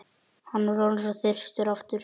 Hann var orðinn svo þyrstur aftur.